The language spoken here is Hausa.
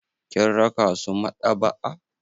Kin raka su maɗaba'a.